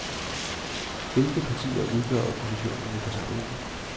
Hvilke partier udgør oppositionen i forsamlingen.